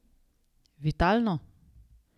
Vitalno?